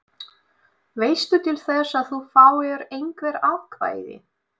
Veistu til þess að þú fáir einhver atkvæði?